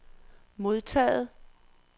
modtaget